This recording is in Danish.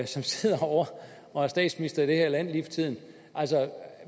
som sidder herovre og er statsminister i det her land lige for tiden